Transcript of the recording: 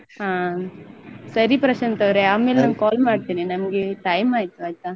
ಹ ಸರಿ ಪ್ರಶಾಂತ್ ಅವ್ರೆ ಆಮೇಲೆ ನಾನ್ call ಮಾಡ್ತೇನೆ ನಮ್ಗೆ time ಆಯ್ತು ಆಯ್ತಾ.